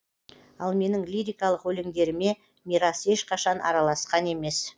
ал менің лирикалық өлеңдеріме мирас ешқашан араласқан емес